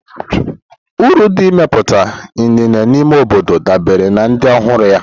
Uru nke imepụta inine n'ime obodo dabere na ịdị ọhụrụ ya.